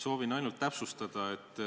Soovin ainult täpsustada.